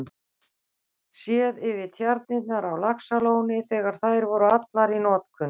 Séð yfir tjarnirnar á Laxalóni þegar þær voru allar í notkun.